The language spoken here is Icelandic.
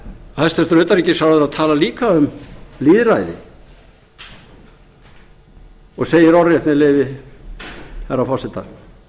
hæstvirtur utanríkisráðherra talar líka um lýðræði og segir orðrétt með leyfi herra forseta